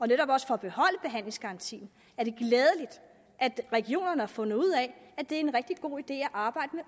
netop også for at beholde behandlingsgarantien at regionerne har fundet ud af at det er en rigtig god idé at arbejde med